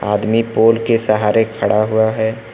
आदमी पोल के सहारे खड़ा हुआ है।